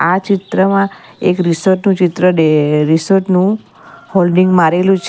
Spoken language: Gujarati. આ ચિત્રમાં એક રિસોર્ટ નું ચિત્ર ડે રિસોર્ટ નુ હોલ્ડિંગ મારેલું છે.